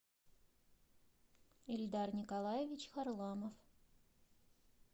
ильдар николаевич харламов